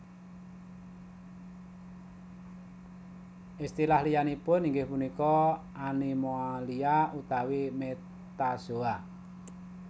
Istilah liyanipun inggih punika Animalia utawi Metazoa